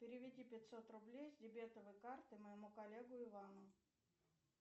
переведи пятьсот рублей с дебетовой карты моему коллеге ивану